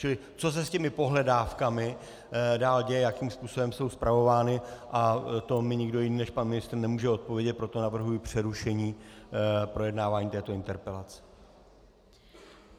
Čili co se s těmi pohledávkami dál děje, jakým způsobem jsou spravovány, a to mi nikdo jiný než pan ministr nemůže odpovědět, proto navrhuji přerušení projednávání této interpelace.